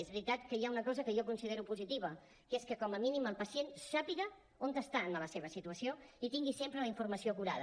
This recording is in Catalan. és veritat que hi ha una cosa que jo considero positiva que és que com a mínim el pacient sàpiga on està en la seva situació i tingui sempre la informació acurada